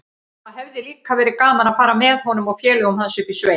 Það hefði líka verið gaman að fara með honum og félögum hans upp í sveit.